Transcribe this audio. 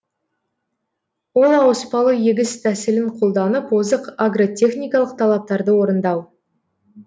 ол ауыспалы егіс тәсілін қолданып озық агротехникалық талаптарды орындау